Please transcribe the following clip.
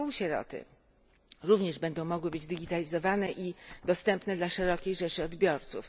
półsieroty również będą mogły być digitalizowane i dostępne dla szerokiej rzeszy odbiorców.